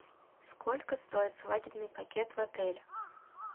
сколько стоит свадебный пакет в отеле